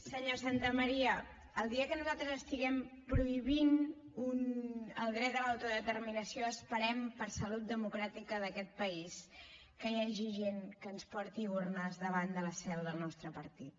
senyor santamaría el dia que nosaltres estiguem prohibint el dret a l’autodeterminació esperem per salut democràtica d’aquest país que hi hagi gent que ens porti urnes davant de la seu del nostre partit